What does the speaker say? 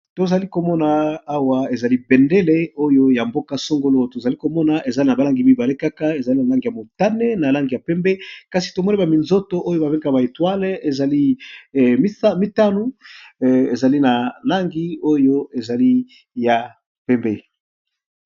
Tozali komona awa ezali bendele oyo ya mboka songolo tozali komona eza balangi mibale kaka eza nalangi ya motane nalangi ya pembe kasi tomoni na minzoto oyo babengaka ba etoile ezali mitano ezali nalangi oyo ezali ya pembe